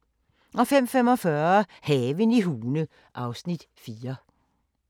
03:00: Mistænkt: Den første sag (1:3)* 04:30: Hun så et mord (219:267) 05:15: Skattejægerne (5:10)* 05:45: Haven i Hune (Afs. 4)